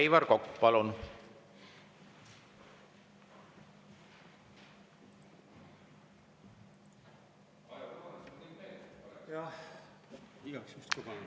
Aivar Kokk, palun!